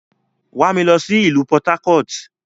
Wa mi lọ si ilu Port-Harcourt!